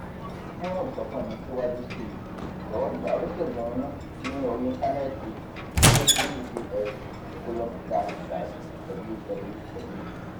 fún ìsọfúnni síwájú sí i jọ̀wọ́ gba oníṣègùn inú ní orí íńtánẹ́ẹ̀tì https colom slash slash www